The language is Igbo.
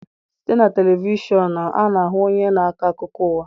Site na televishọnụ,a na-ahụ onye na-akọ akụkọ ụwa.